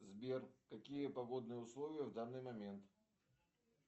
сбер какие погодные условия в данный момент